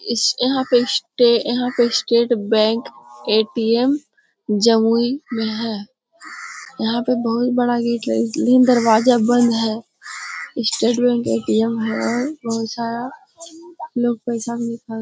इस यहां पे स्टे यहां पे स्टेट बैंक ए_टी_एम जमुई में है। यहां पे बोहोत बड़ा गेट लेकिन दरवाजा बंद है। यह स्टेट बैंक ए_टी_एम है। बहुत सारा लोग पैसा निकाल --